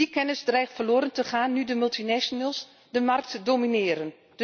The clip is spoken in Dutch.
Die kennis dreigt verloren te gaan nu de multinationals de markt domineren.